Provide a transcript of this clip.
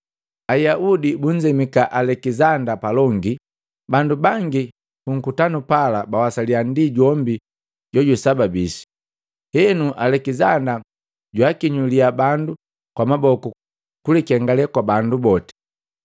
Ayaudi bunzemika Alekizanda palongi. Bandu bangi punkutanu pala bawasaliya ndi jombi jojusababishi. Henu, Alekisanda jwaakinyuliya bandu kwa maboku kulangi jupala kulikengale kwa bandu boti.